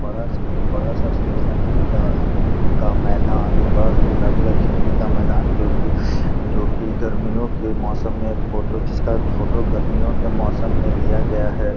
बड़ा एक बड़ा सा सोसायटी का का मैदान एक बड़ा सा सोसायटी का खेलने का मैदान जो कि जो कि गर्मियों के मौसम में फ़ोटो जिसका फ़ोटो गर्मियों के मौसम में लिया गया है |